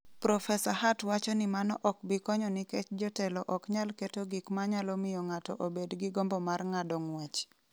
Profesa Hart wacho ni mano ok bi konyo nikech jotelo ok nyal keto gik ma nyalo miyo ng’ato obed gi gombo mar ng’ado ng’wech.